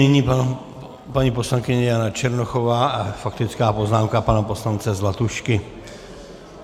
Nyní paní poslankyně Jana Černochová a faktická poznámka pana poslance Zlatušky.